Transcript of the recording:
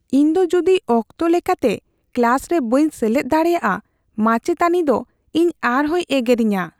ᱤᱧ ᱫᱚ ᱡᱩᱫᱤ ᱚᱠᱛᱚ ᱞᱮᱠᱟᱛᱮ ᱠᱞᱟᱥ ᱨᱮ ᱵᱟᱹᱧ ᱥᱮᱞᱮᱫ ᱫᱟᱲᱮᱭᱟᱜᱼᱟ, ᱢᱟᱪᱮᱫᱟᱹᱱᱤ ᱫᱚ ᱤᱧ ᱟᱨᱦᱚᱸᱭ ᱮᱜᱮᱨᱤᱧᱟ ᱾